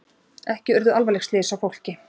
Ekki urðu alvarleg slys á fólki